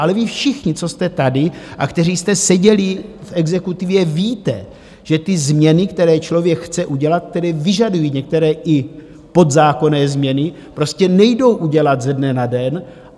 Ale vy všichni, co jste tady a kteří jste seděli v exekutivě, víte, že ty změny, které člověk chce udělat, které vyžadují některé i podzákonné změny, prostě nejdou udělat ze dne na den.